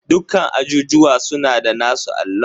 Dukkan ajujuwa suna da nasu allon.